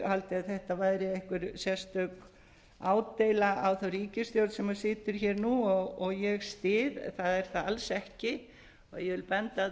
haldið að þetta væri einhver sérstök ádeila á ríkisstjórnina sem situr hér nú og ég styð það er það alls ekki ég vil benda á það